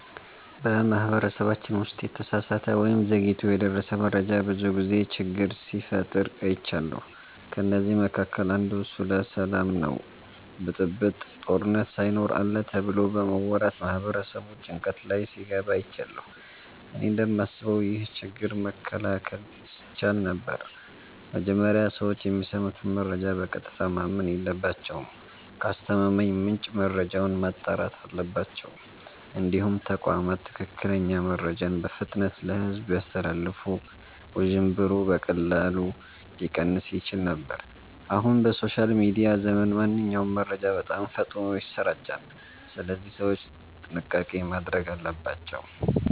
በማህበረሰባችን ውስጥ የተሳሳተ ወይም ዘግይቶ የደረሰ መረጃ ብዙ ጊዜ ችግር ሲፈጥር አይቻለሁ። ከእነዚህ መካከል አንዱ ስለ ሰላም ነው ብጥብጥ፣ ጦርነት ሳይኖር አለ ተብሎ በመወራት ማህበረሰቡ ጭንቀት ላይ ሲገባ አይቻለሁ። እኔ እንደማስበው ይህ ችግር መከላከል ይቻል ነበር። መጀመሪያ ሰዎች የሚሰሙትን መረጃ በቀጥታ ማመን የለባቸውም። ከአስተማማኝ ምንጭ መረጃውን ማጣራት አለባቸው። እንዲሁም ተቋማት ትክክለኛ መረጃን በፍጥነት ለሕዝብ ቢያስተላልፉ ውዥንብሩ በቀላሉ ሊቀንስ ይችል ነበር። አሁን በሶሻል ሚዲያ ዘመን ማንኛውም መረጃ በጣም ፈጥኖ ይሰራጫል፣ ስለዚህ ሰዎች ጥንቃቄ ማድረግ አለባቸው።